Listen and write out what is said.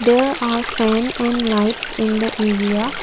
there are fan and lights in the area.